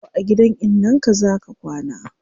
Yau a gidan innan ka zaa ka kwana